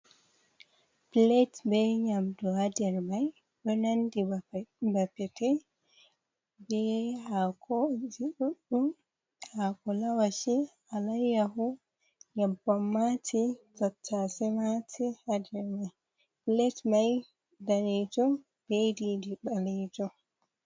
Pilet be nyamdu ha der mai ɗo nandi ba pete be hakoji ɗuɗɗum, hako lawashi alayyahu, nyyebbam mati, tattase mati, ha der mai pilet mai, danejum be didi ɓalejum.